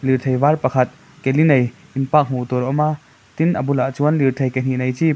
lirthei var pakhat keli nei in park hmuhtur a awm a tin a bulah chuan lirthei ke hnih nei chi--